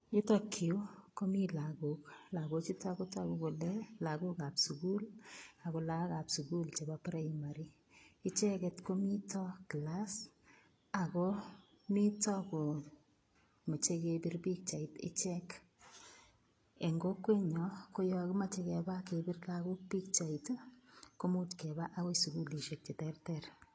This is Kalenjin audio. Yutokyu komi lagok. Lagochutok kotogu kole lagokab sugul ako lagokab sugul nebo primary. icheket komito kilas akomito kemachei kepir pichait ichek. Eng kokwenyo koyo kimachei kepa kepir lagok pichait kependi akoi sugulishek cheterter.